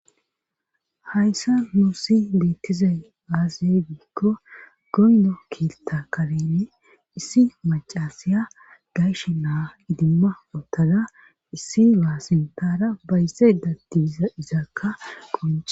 Hayssan nusi beettizay aaze giikko goyno keetta kareeni issi maccasiya gayshe na7a idimma uttada issi naa sinttanara bayzaydda diza izakka qoncce.